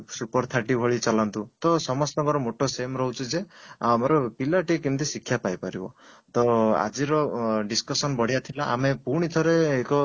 SUPER 30 ଭଳି ଚାଲନ୍ତୁ ତ ସମସ୍ତ ଙ୍କର moto same ରହୁଛି ଯେ ଆମର ପିଲା ଟି କେମିତି ଶିକ୍ଷା ପାଇପାରିବ ତ ଆଜିର discussion ବଢିଆ ଥିଲା ଆମେ ପୁଣି ଥରେ ଏକ